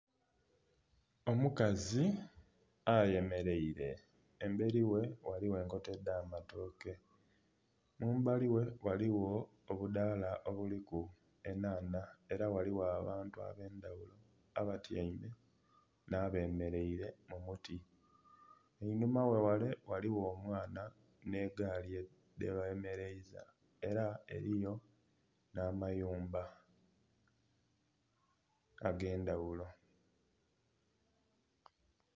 Omukazi ayemeleire emberi ghe ghaligho enkota edh'amatooke. Mumbali ghe ghaligho obudaala obuliku enhanha era ghaligho abantu ab'endhagulo abatyaime nh'abemeleire mu muti. Einhuma ghe ghale ghaligho omwana nh'egaali gyebemeleiza era eliyo nh'amayumba ag'endhagulo.